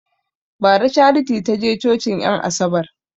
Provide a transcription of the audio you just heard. Bara charity taje cocin en asabar